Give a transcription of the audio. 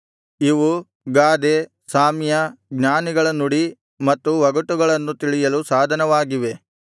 ಇವು ಗಾದೆ ಸಾಮ್ಯ ಜ್ಞಾನಿಗಳ ನುಡಿ ಮತ್ತು ಒಗಟುಗಳನ್ನು ತಿಳಿಯಲು ಸಾಧನವಾಗಿವೆ